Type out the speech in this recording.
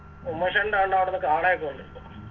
ഉമേഷേണ്ടാണ്ടാവിടുന്ന് കാളയൊക്കെ ഒണ്ട്